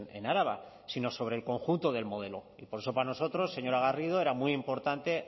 en araba sino sobre el conjunto del modelo y por eso para nosotros señora garrido era muy importante